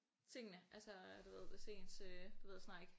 Tingene altså du ved hvis ens øh det ved jeg snart ikke